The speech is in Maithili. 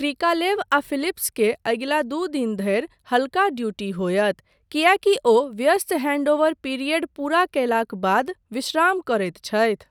क्रिकालेव आ फिलिप्स के अगिला दू दिन धरि हल्का ड्यूटी होयत, किएकी ओ व्यस्त हैंडओवर पीरियड पूरा कयलाक बाद विश्राम करैत छथि।